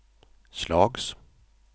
slags